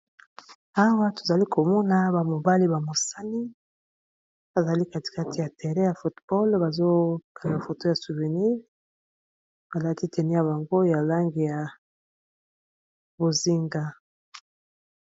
awa tozali komona bamobali bamosani bazali katikati ya tere ya fotball bazokea foto ya slouvenie balaki teni ya bango ya lange ya bozinga